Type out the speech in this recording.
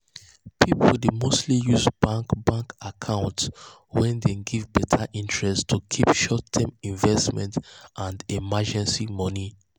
people dey mostly use bank bank account wey dey give better interest to keep short-term investment and emergency money.